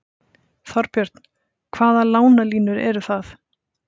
Þorbjörn: Hvaða lánalínur eru það?